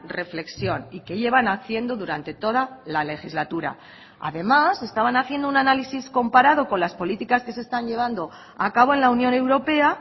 reflexión y que llevan haciendo durante toda la legislatura además estaban haciendo un análisis comparado con las políticas que se están llevando a cabo en la unión europea